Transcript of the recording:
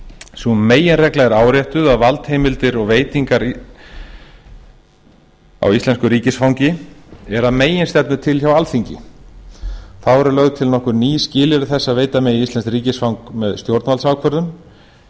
sú meginregla er áréttuð að valdheimildir og veitingar á íslensku ríkisfangi er að meginstefnu til hjá alþingi þá eru lögð til nokkur ný skilyrði þess að enga megi íslenskt ríkisfang með stjórnvaldsákvörðun